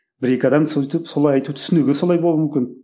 бір екі адам сөйтіп солай айтып түсінігі солай болуы мүмкін